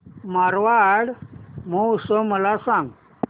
मारवाड महोत्सव मला सांग